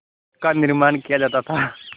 का निर्माण किया जाता था